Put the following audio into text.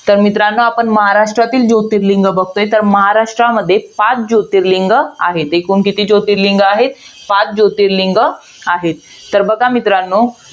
तर मित्रांनो, आपण महाराष्ट्रातील जोतिर्लिंग बघतोय. तर महाराष्ट्रामध्ये, पाच जोतिर्लिंग आहेत. एकूण किती जोतिर्लिंग आहेत? पाच जोतिर्लिंग आहेत. तर बघ मित्रांनो,